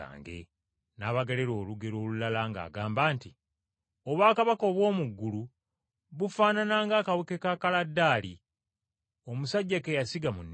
N’abagerera olugero olulala ng’agamba nti, “Obwakabaka obw’omu ggulu bufaanana ng’akaweke ka kaladaali, omusajja ke yasiga mu nnimiro.